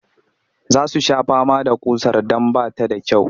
Za su sha fama da ƙusar don ba ta da kyau